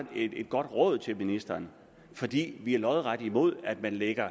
et godt råd til ministeren fordi vi er lodret imod at man lægger